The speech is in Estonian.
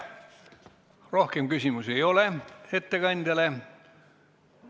Rohkem küsimusi ettekandjale ei ole.